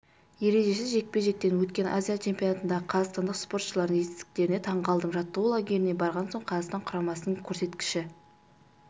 ережесіз жекпе-жектен өткен азия чемпионатындағы қазақстандық спортшылардың жетістіктеріне таңғалдым жаттығу лагеріне барған соң қазақстан құрамасының көрсеткіші